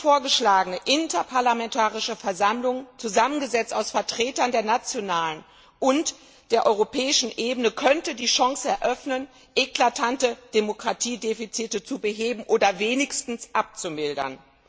Die von uns vorgeschlagene Interparlamentarische Versammlung, zusammengesetzt aus Vertretern der nationalen und der europäischen Ebene, könnte die Chance eröffnen, eklatante Demokratiedefizite zu beheben oder wenigstens abzumildern.